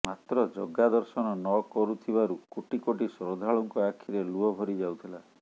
ମାତ୍ର ଜଗା ଦର୍ଶନ ନକରୁଥିବାରୁ କୋଟି କୋଟି ଶ୍ରଦ୍ଧାଳୁଙ୍କ ଆଖିରେ ଲୁହ ଭରି ଯାଉଥିଲା